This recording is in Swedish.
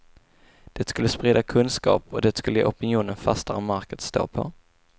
Det skulle sprida kunskap, och det skulle ge opinionen fastare mark att stå på.